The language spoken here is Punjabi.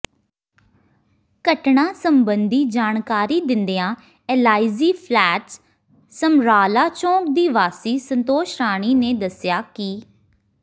ਘਟਨਾ ਸਬੰਧੀ ਜਾਣਕਾਰੀ ਦਿੰਦਿਆਂ ਐਲਆਈਜੀ ਫਲੈਟਸ ਸਮਰਾਲਾ ਚੌਂਕ ਦੀ ਵਾਸੀ ਸੰਤੋਸ਼ ਰਾਣੀ ਨੇ ਦੱਸਿਆ ਕਿ